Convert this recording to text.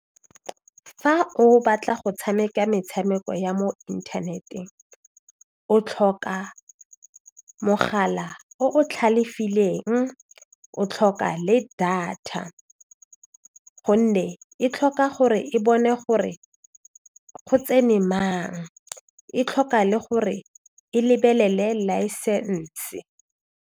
Fa o batla go tshameka metshameko ya mo inthaneteng o tlhoka mogala o tlhalefileng o tlhoka le data gonne e tlhoka gore e bone gore go tsene mang e tlhoka le gore e lebelele laesense.